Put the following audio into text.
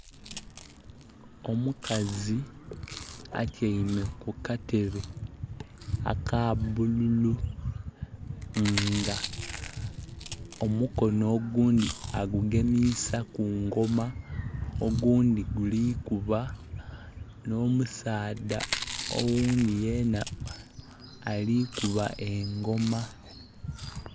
Omukazi atyaime ku katebe aka bululu nga omukono ogundhi agugemisa ku ngoma ogundhi guli kuba nho musaadha oghundhi yena alikuba engoma.